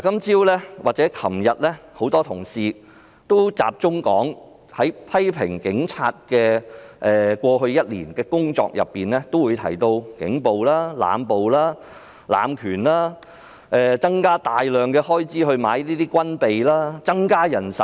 這兩天，很多同事批評警察過去1年的工作，也提到警暴、濫捕、濫權、增加開支以購買軍備，增加人手等。